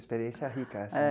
Experiência rica, assim. É.